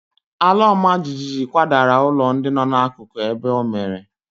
Ala ọma jijiji kwadara ụlọ ndị nọ n'akụkụ ebe o mere.